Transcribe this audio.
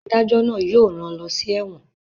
Adájọ́ náà yóò rán lọ sí ẹ́wọ̀n